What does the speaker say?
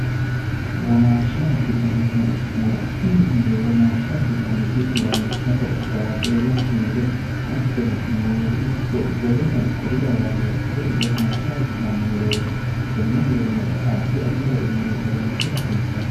womaashsha a bitanno murottini muro womaashshaabbitannoti lawishshaho baaqeela sinde hattono muuze ikko woleno kuri lawannori kuri womaashsha a bitanno murooti tenne muronno addi addi garinni oroonsi rasiissanno